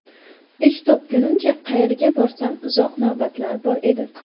Ish topgunimcha qayerga borsam uzoq navbatlar bor edi.